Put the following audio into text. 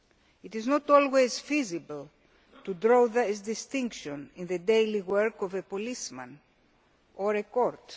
It is not always feasible to draw this distinction in the daily work of a policeman or of a court.